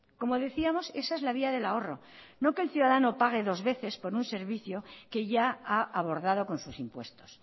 como decíamos esa es la vía del ahorro no que el ciudadano pague dos veces por un servicio que ya ha abordado con sus impuestos